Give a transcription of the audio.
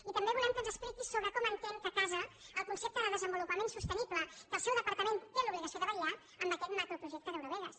i també volem que ens expliqui sobre com entén que casa el concepte de desenvolupament sostenible pel qual el seu departament té l’obligació de vetllar amb aquest macroprojecte d’eurovegas